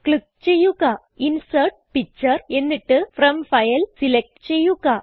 click ചെയ്യുക insert picture എന്നിട്ട് from file select ചെയ്യുക